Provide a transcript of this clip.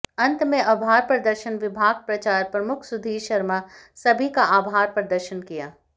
अंत में आभार प्रदर्शन विभाग प्रचार प्रमुख सुधीर शर्मा सभी का आभार प्रदर्शन किया